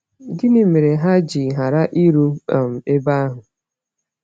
Gịnị mere ha ji ghara iru um ebe ahụ?